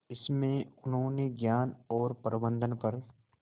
इसमें उन्होंने ज्ञान और प्रबंधन पर